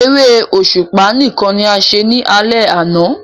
Eré òṣùpá nìkan ní a ṣe ní alè àna